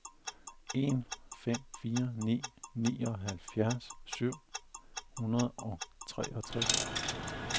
en fem fire ni nioghalvfjerds syv hundrede og otteogtres